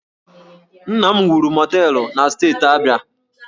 Nna m wuru mọteelụ na Steeti Abia